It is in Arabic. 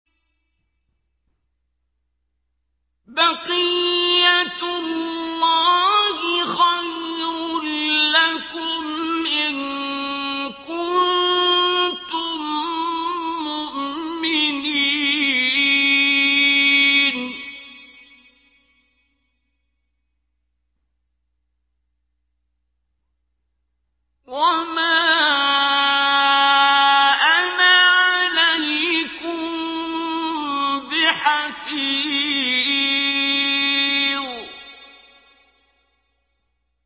بَقِيَّتُ اللَّهِ خَيْرٌ لَّكُمْ إِن كُنتُم مُّؤْمِنِينَ ۚ وَمَا أَنَا عَلَيْكُم بِحَفِيظٍ